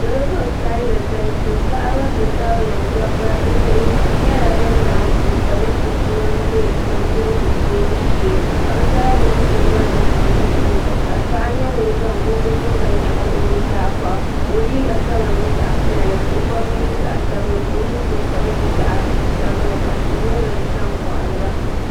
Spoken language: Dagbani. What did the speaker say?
salo ban kanili galisi paɣ' ba ti tabili da ba be bihi nyɛla ban laɣim pɛ ƒɔli chɛsimam bɛnidirigu dɛbu shɛɛ ka be zaa gbabi silibanim be nuhini ka paɣ nyɛ ŋɔ zaŋ kokokuriga n nyɛgi o nu zaa bɔɣini ka o liga kama nyɛ zaɣ' piɛli ka o bubigu nyɛ zaɣ' sabinli kani nɛgbani kama nyɛ zaɣ' sabinli ka tihi nyɛ dini sa n koɣiliba